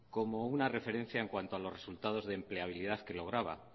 como una referencia en cuanto a los resultados de empleabilidad que lograba